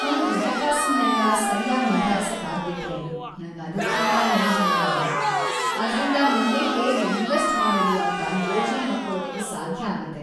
ನನ್ ಹಣಕಾಸನ್ನೆಲ್ಲ ಸರ್ಯಾಗ್ ನಿಭಾಯ್ಸಕ್‌ ಆಗ್ಬಿಟ್ರೆ ನಂಗದ್ಕಿಂತ ನೆಮ್ದಿ ಇನ್ನೊಂದಿಲ್ಲ, ಅದ್ರಿಂದ ಮುಂದೆ ಹೇಗ್‌ ಇನ್ವೆಸ್ಟ್‌ ಮಾಡೋದು ಅಂತ ಯೋಜ್ನೆ ಹಾಕೊಳಕ್ಕೂ ಸಾಧ್ಯ ಆಗತ್ತೆ.